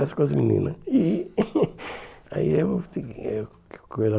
converse com as meninas. E aí eu